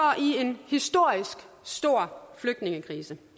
i en historisk stor flygtningekrise